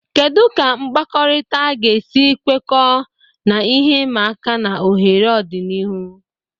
Kedu ka mkpakọrịta ga-esi kwekọọ na ihe ịma aka na ohere n'ọdịnihu?